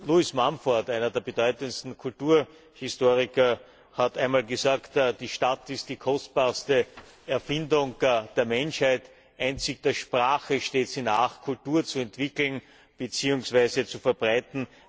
Lewis Mumford, einer der bedeutendsten Kulturhistoriker, hat einmal gesagt, die Stadt ist die kostbarste Erfindung der Menschheit, einzig der Sprache steht sie nach, Kultur zu entwickeln, beziehungsweise zu verbreiten.